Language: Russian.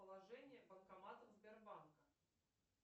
положение банкоматов сбербанка